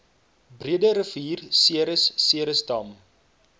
breederivier ceres ceresdam